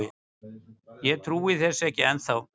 Ég trúi þessu ekki ennþá.